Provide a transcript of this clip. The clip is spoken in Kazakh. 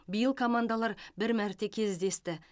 биыл командалар бір мәрте кездесті